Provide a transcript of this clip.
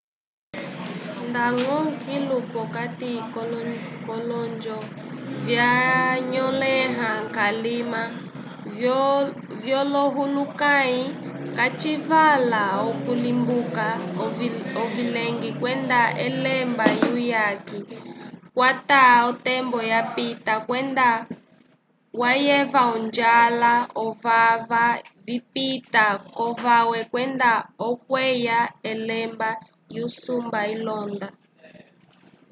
ndañgo kilu p'okati k'olonjo vyanyõleha kalima vyolohulukãyi kacivala okulimbuka ovileñgi kwenda elemba lyuyaki twakwata k'otembo yapita nda wayeva onjwela ovava vipita k'ovawe kwenda okuyeva elemba lyusumba ilonda